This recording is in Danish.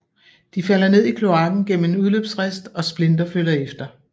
De falder ned i kloaken gennem en udløbsrist og Splinter følger efter